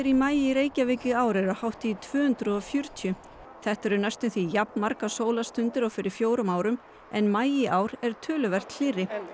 í maí í Reykjavík í ár eru hátt í tvö hundruð og fjörutíu þetta eru næst um því jafnmargar sólarstundir og fyrir fjórum árum en maí í ár er töluvert hlýrri